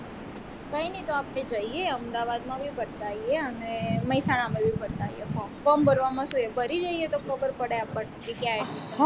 કઈ નાઈ તો આપણે જઈએ અમદાવાદ માં બી ફરતા આઇએ અને મહેસાણા માં બી ભારત આઇએ form form ભરવામાં શું ભરી જોઈએતો ખબર પડે આપણને કે ક્યાં admission